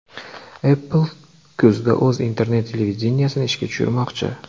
Apple kuzda o‘z internet-televideniyesini ishga tushirmoqchi.